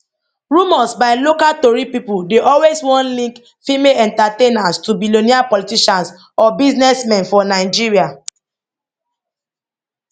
rumours by local tori pipo dey always wan link female entertainers to billionaire politicians or businessmen for nigeria